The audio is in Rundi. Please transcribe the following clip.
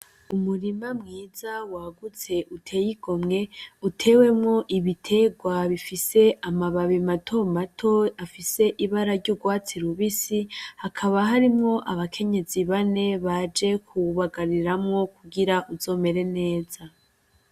Umurima mwiza wagutse uteye igomwe, utewemwo ibiterwa bifise amababi mato mato afise ibara ry'urwatsi rubisi. Hakaba harimwo abakenyezi bane baje kubagariramwo kugira bizomere neza.